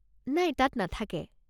নাই তাত নাথাকে।